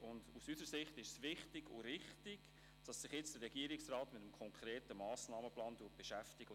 Aus unserer Sicht ist es wichtig und richtig, dass sich der Regierungsrat jetzt mit dem konkreten Massnahmenplan beschäftigt.